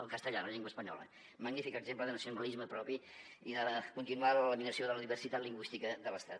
el castellà la llengua espanyola magnífic exemple de nacionalisme propi i de continuar la laminació de la diversitat lingüística de l’estat